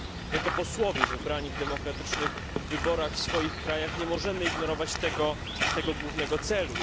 Jako posłowie wybrani w demokratycznych wyborach w swoich krajach nie możemy ignorować tego głównego celu.